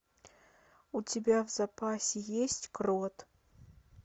у тебя в запасе есть крот